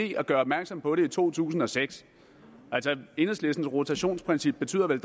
gjort opmærksom på det i to tusind og seks altså enhedslistens rotationsprincip betyder vel